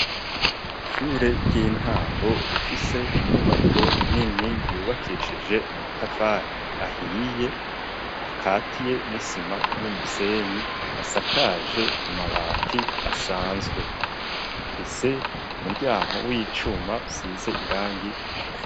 Ishure ry'intango rifise inyubako nini yubakishije amatafari ahiye akatiye n'isima n'umusenyi asakaje amabati asanzwe rifise umuryango w'icuma usize irangi ritukura.